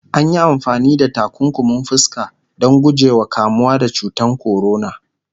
anyi amfani da takunkumin fuska Dan guje wa kamuwa da cutan corona